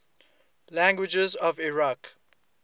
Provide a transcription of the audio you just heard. languages of iraq